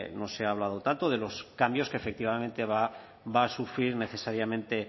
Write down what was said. no se ha hablado tanto de los cambios que efectivamente va a sufrir necesariamente